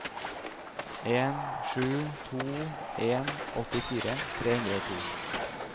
en sju to en åttifire tre hundre og to